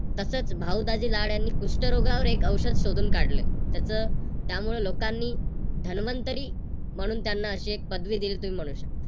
तसच भाऊ दाजी लाड यांनी कुष्ठरोगावर एक औषध शोधून काढले. त्याच त्यामुळे लोकांनी धनवंतरी म्हणून त्यांना अशी एक पदवी दिली तस तुम्ही म्हणू शकता.